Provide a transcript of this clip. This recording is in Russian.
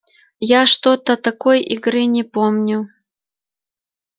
я что-то такой игры не помню